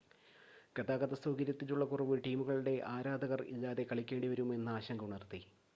ഗതാഗതസൗകര്യത്തിലുള്ള കുറവ് ടീമുകളുടെ ആരാധകർ ഇല്ലാതെ കളിക്കേണ്ടി വരുമോ എന്ന ആശങ്ക ഉണർത്തി